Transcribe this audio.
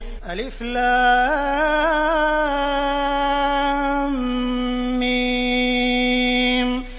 الم